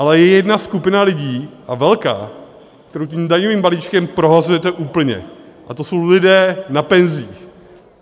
Ale je jedna skupina lidí, a velká, kterou tím daňovým balíčkem prohazujete úplně, a to jsou lidé na penzích.